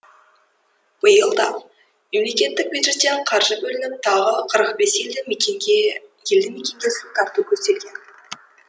биыл да мемлекеттік бюджеттен қаржы бөлініп тағы қырық бес елді мекенге су тарту көзделген